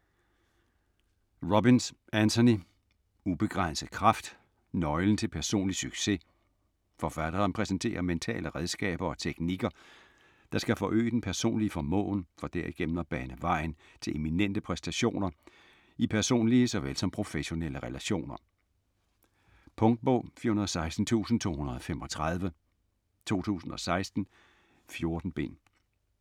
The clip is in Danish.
Robbins, Anthony: Ubegrænset kraft: nøglen til personlig succes Forfatteren præsenterer mentale redskaber og teknikker der skal forøge den personlige formåen for derigennem at bane vejen til eminente præstationer i personlige såvel som professionelle relationer. Punktbog 416235 2016. 14 bind.